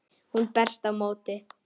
Hún berst á móti.